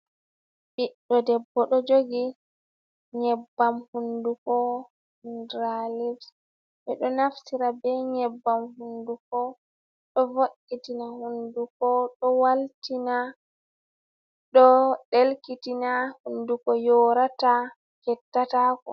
Ɓiɗɗo debbo ɗo jogi nyebbam hunduko hundralipse ɗo naftira be nyebbam hunduko ɗo vo’itina hunduko, ɗo waltina, ɗo ɗelkitina, hunduko yorata, fettata ko.